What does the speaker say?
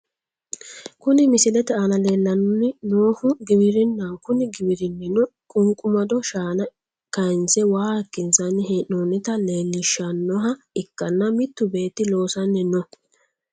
Kuni misilete aana leellanni noohu giwirinnaho kuni giwirinnino qunqumadu shaana kaanse waa hayiikkinsanni hee'noonnita leelishannoha ikkanna mittu beetti loosanni no.